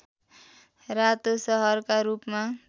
रातो सहरका रूपमा